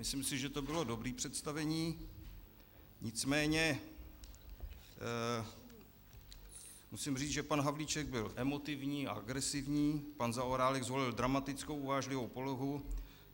Myslím si, že to bylo dobré představení, nicméně musím říct, že pan Havlíček byl emotivní a agresivní, pan Zaorálek zvolil dramatickou uvážlivou polohu.